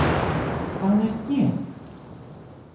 Hvað er gen?